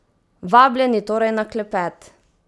Vabljeni torej na klepet!